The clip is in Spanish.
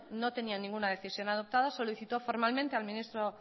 no tenía ninguna decisión adoptada solicitó formalmente